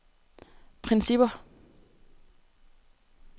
principper